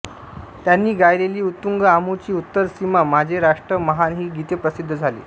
त्यांनी गायलेली उत्तुंग आमुची उत्तर सीमा माझे राष्ट्र महान ही गीते प्रसिद्ध झाली